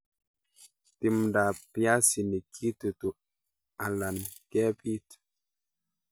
Timdab piasinik kitutu alan kebit.